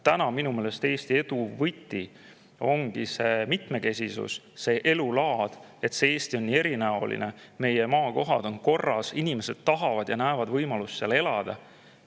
Täna minu meelest Eesti edu võti ongi see elulaadi mitmekesisus: et Eesti on nii erinäoline, meie maakohad on korras, inimesed tahavad ja näevad võimalust seal elada.